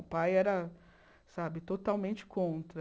O pai era sabe totalmente contra.